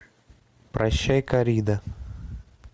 прощай коррида